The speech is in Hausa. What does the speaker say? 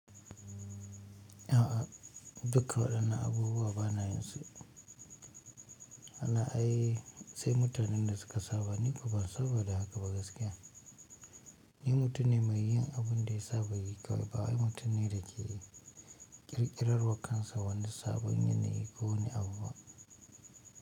A'a, duka waɗannan abubuwa bana yinsu Haba ai sai mutanen da suka saba ni kuma ba saboda haka ba gaskiya. Ni mutum ne mai yin abin da ya saba yi kawai ba wai mutum ne da ke ƙirƙirarwa kansa wani sabon yanayi ko wani abu ba.